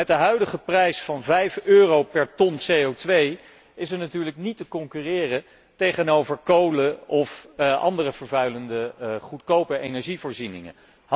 Maar met de huidige prijs van 5 euro per ton CO2 is er natuurlijk niet te concurreren met kolen of andere vervuilende, goedkope energievoorzieningen.